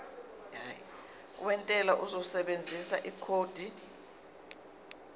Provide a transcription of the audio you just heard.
wentela uzosebenzisa ikhodi